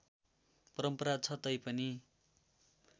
परम्परा छ तैपनि